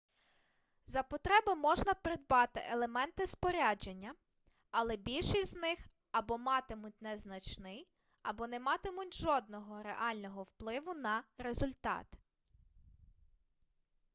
за потреби можна придбати елементи спорядження але більшість з них або матимуть незначний або не матимуть жодного реального впливу на результат